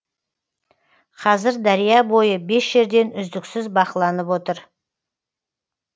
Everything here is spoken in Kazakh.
қазір дария бойы бес жерден үздіксіз бақыланып отыр